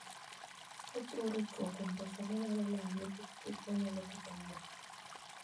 Ochiwo ritruok kuom pesa manyalo lal nikech gik manyalo ketho wuoth.